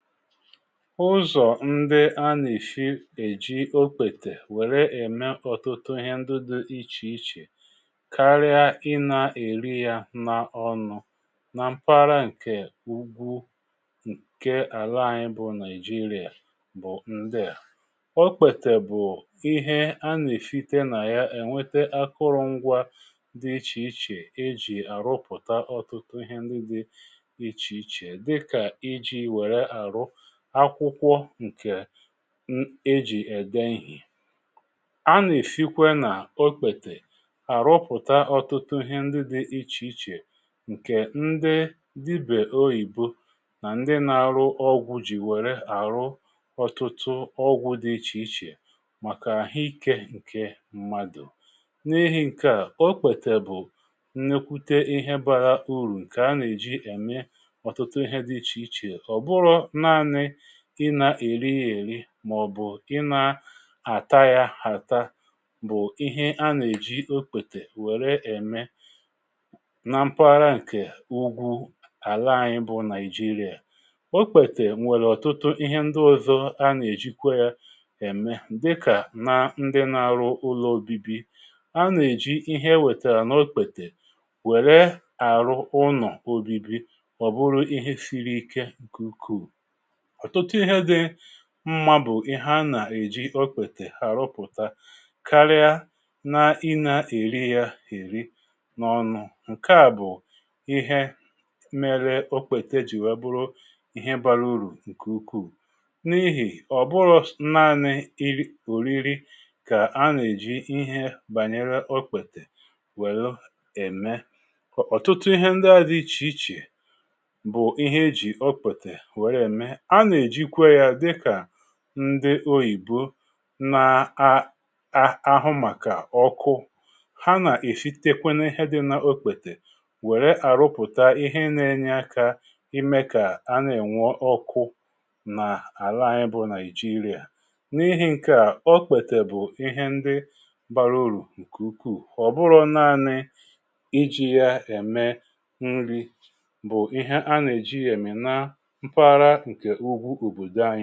ụzọ̀ ndi a nà-èsi èji okpètè wère ème ọ̀tụtụ ihe ndị dị̇ ichè ichè karịa i nà-èri ya n’ọnụ̇ na mpàra ǹkè ugwu ǹke àla anyị bụ nigeria bụ ndịà, okpètè bụ̀ ihe a nà-èsité nà ya ènwete akụrụngwa dị ichèichè e jì àrụpụ̀ta ọ̀tụtụ ihe ndị dị ichèichè dika iji wére aru akwụkwọ ǹkè ejì ède ihe a nà-èsikwe nà okpètè àrụpụ̀ta ọ̀tụtụ ihe ndị dị ichè ichè ǹkè ndị dibè oyìbo nà ndị na-arụ ọgwụ jì wèrè àrụ ọtụtụ ọgwụ̇ dị ichè ichè màkà àhụikė ǹkè mmadụ̀ n’ehi ǹkè a, okpètè bụ̀ ǹnèkwute ihe bara urù ǹkè a nà-èji ème ọ̀tụtụ ihe dị ichè ichè oburu naani ị na-èri yȧ èri mà ọ̀ bụ̀ ị na-àta yȧ àta bụ̀ ihe a nà-èji okpètè wère ème na mpaghara ǹkè ugwu àla anyị̇ bụ nigeria okpètè m̀wèrè ọ̀tụtụ ihe ndị ọ̇zọ̇ a nà-èjikwa yȧ ème dịkà na ndị nȧ-ȧrụ ụlọ ȯbi̇bi̇ a nà-èji ihe e wètèrè n’okpètè wère àrụ ụnọ̀ obibi ọbụrụ ihe siri ike ukù ọ̀tụtụ ihe dị mmȧ bụ̀ ihe anà-èji okwètè àrupụ̀ta karịa na i na-èri ya èri n’ọnụ̇ ǹkèa bụ̀ ihe mere okpètè ji wee bụrụ ihe bara urù ǹkè ukwuù n’ihì ọ̀ bụrụ naanị ìri oriori kà a nà-èji ihe bànyere okwètè wèlụ ème ọ̀tụtụ ihe ndị a di ichè ichè bụ̀ ihe ejì okpètè wère ème ana ejikwa ya ka ndị oyìbo nà-aaahụ màkà ọkụ ha nà-èsitekwe na ihe dị n’okpètè wèrè àrụpụ̀ta ihe nà-enye akȧ ime kà anà-ènwe ọkụ n’àla anyi bụ nàìjirià n’ihì ǹkè a ọkpètè bụ̀ ihe ndị bàrà urù ǹkè ukwuù ọ̀bụrọ̀ naanị iji̇ ya ème nri bụ̀ ihe a nà-èji èmì na mpàra ǹkè ugbu obòdo anyị